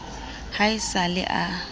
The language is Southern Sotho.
ha e sa le a